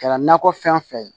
Kɛra nakɔ fɛn fɛn ye